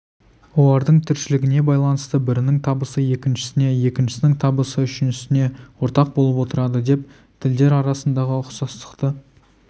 олардың тіршілігіне байланысты бірінің табысы екіншісіне екіншісінің табысы үшіншісіне ортақ болып отырады деп тілдер арасындағы ұқсастықты